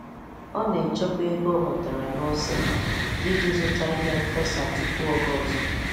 Ọ na-echekwa ego o nwetara n'ose iji zụta ihe nfesa tupu oge ọzọ